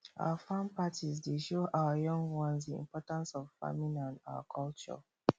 our farm parties dey show our young ones di importance of farming and our culture